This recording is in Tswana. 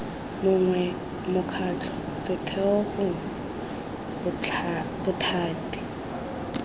mongwe mokgatlho setheo gongwe bothati